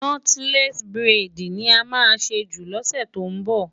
Nọ́tílẹ́ẹ̀sì buredì ni a máa ṣe jù lọ́sè tó ń bọ̀.